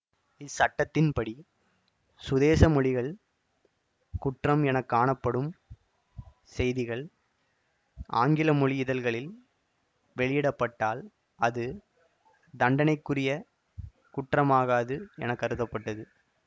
இச்சட்டத்தின் படி சுதேசமொழிகளில் குற்றம் என காணப்படும் செய்திகள் ஆங்கில மொழி இதழ்களில் வெளியிடப்பட்டால் அது தண்டனைக்குரிய குற்றமாகாது என கருதப்பட்டது